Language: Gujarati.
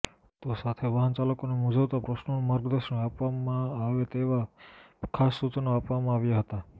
તો સાથે વાહન ચાલકોને મૂંઝવતા પ્રશ્નોનું માર્ગદર્શન આપવામાં આવે તેવા ખાસ સૂચનો આપવામાં આવ્યા હતા